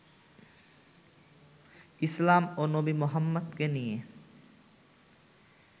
ইসলাম ও নবী মোহাম্মদকে নিয়ে